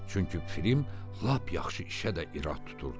Çünki Frim lap yaxşı işə də irad tuturdu.